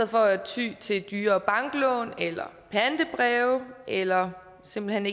for ty til dyre banklån eller pantebreve eller simpelt hen